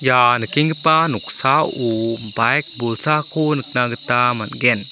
ia nikenggipa noksao baik bolsako nikna gita man·gen.